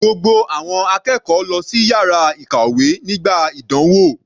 Gbogbo àwọn akẹ́kọ̀ọ́ lọ sí yàrá ìkàwé nígbà ìdánwò.